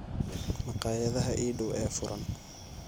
Maqaayadaha ii dhaw ee furan